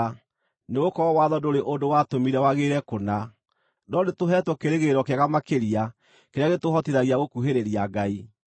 (nĩgũkorwo watho ndũrĩ ũndũ watũmire wagĩrĩre kũna), no nĩtũheetwo kĩĩrĩgĩrĩro kĩega makĩria kĩrĩa gĩtũhotithagia gũkuhĩrĩria Ngai.